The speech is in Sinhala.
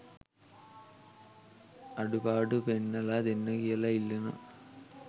අඩුපාඩු පෙන්නලා දෙන්න කියලා ඉල්ලනවා.